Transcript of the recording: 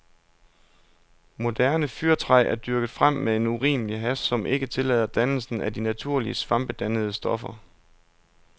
Moderne fyrretræ er dyrket frem med en urimelig hast, som ikke tillader dannelsen af de naturlige svampedannende stoffer.